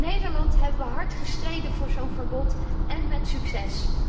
In Nederland hebben we hard gestreden voor zo'n verbod, en met succes.